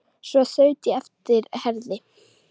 Svo þaut ég á eftir Herði.